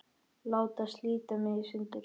Láta slíta mig í sundur.